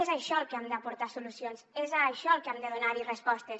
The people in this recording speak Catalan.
és això al que hem d’aportar solucions és això al que hem de donar respostes